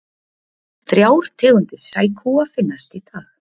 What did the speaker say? Þrjár tegundir sækúa finnast í dag.